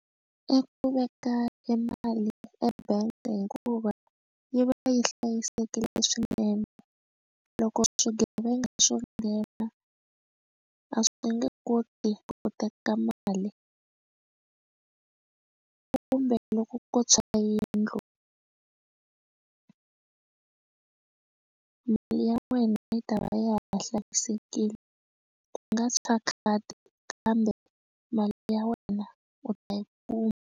I ku veka e mali eka bank hikuva yi va yi hlayisekile swinene loko swigevenga swo nghena a swi nge koti ku teka mali kumbe loko ko tshwa yindlu mali ya wena yi ta va ya ha hlayisekile ku nga tshwa khadi kambe mali ya wena u ta yi kuma.